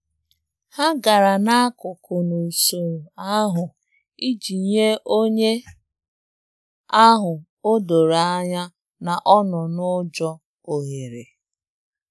Ha gara n'akụkụ n’usoro ahu iji nye onye ahụ o doro anya na ọ nọ n'ụjọ ohere.